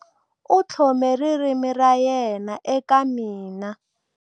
U tlhome ririmi ra yena eka mina.